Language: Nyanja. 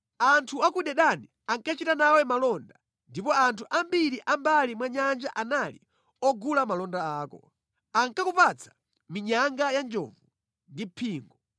“Anthu a ku Dedani ankachita nawe malonda, ndipo anthu ambiri a mʼmbali mwa nyanja anali ogula malonda ako. Ankakupatsa minyanga ya njovu ndi phingo.